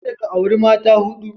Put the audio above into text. Kada ka auri mata ta huɗu.